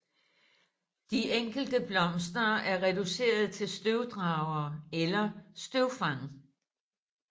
De enkelte blomster er reduceret til støvdragere eller støvfang